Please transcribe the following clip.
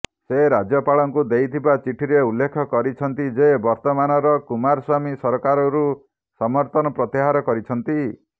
ସେ ରାଜ୍ୟପାଳଙ୍କୁ ଦେଇଥିବା ଚିଠିରେ ଉଲ୍ଲେଖ କରିଛନ୍ତି ଯେ ବର୍ତ୍ତମାନର କୁମାରସ୍ୱାମୀ ସରକାରରୁ ସମର୍ଥନ ପ୍ରତ୍ୟାହାର କରିଛନ୍ତି